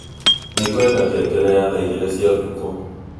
Nĩ ngwenda ngengere ya thaa igĩrĩ cia ũtukũ